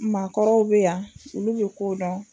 Maakɔrɔw be yan olu be kow dɔn